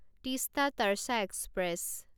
Teesta Torsa express